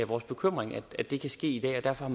vores bekymring at det kan ske i dag og derfor